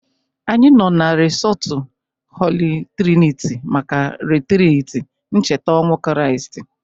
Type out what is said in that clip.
Anyị nọ na resọtụ Holi triniti maka ritriti ncheta ọnwụ Kriast